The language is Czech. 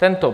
Tento.